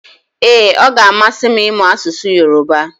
Ee, ọ ga-amasị m ịmụ asụsụ Yorùbá